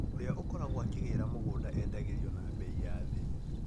ũra ũkoragwo akĩgĩra mũgũnda endagĩrio na mbei ya thĩ